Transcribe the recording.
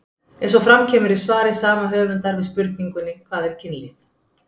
eins og fram kemur í svari sama höfundar við spurningunni hvað er kynlíf